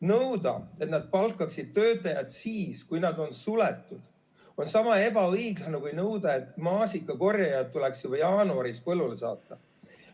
Nõuda, et nad palkaksid töötajad siis, kui nad on suletud, on sama ebaõiglane kui nõuda, et maasikakorjajad tuleks juba jaanuaris põllule saata.